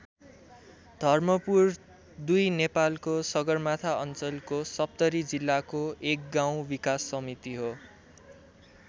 धर्मपुर २ नेपालको सगरमाथा अञ्चलको सप्तरी जिल्लाको एक गाउँ विकास समिति हो।